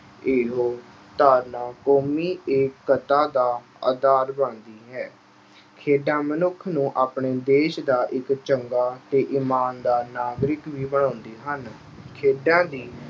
ਇਹੋ ਧਾਰਨਾ ਕੌਮੀ ਏਕਤਾ ਦਾ ਆਧਾਰ ਬਣਦੀ ਹੈ। ਖੇਡਾਂ ਮਨੁੱਖ ਨੂੰ ਆਪਣੇ ਦੇਸ਼ ਦਾ ਇੱਕ ਚੰਗਾ ਤੇ ਇਮਾਨਦਾਰ ਨਾਗਰਿਕ ਵੀ ਬਣਾਉਂਦੇ ਹਨ। ਖੇਡਾਂ ਦੀ